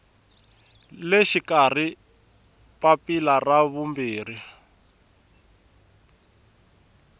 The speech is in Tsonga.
le xikarhi papila ra vumbirhi